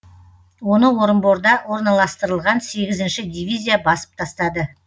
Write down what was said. оны орынборда орналастырылған сегізінші дивизия басып тастады